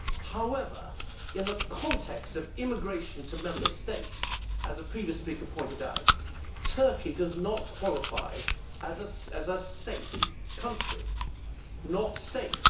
However, in the context of immigration to Member States, as a previous speaker pointed out, Turkey does not qualify as a safe country it is not safe.